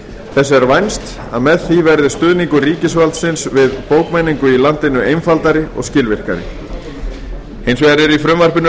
þess er vænst að með því verði stuðningur ríkisvaldsins við bókmenningu í landinu einfaldari og skilvirkari hins vegar eru í frumvarpinu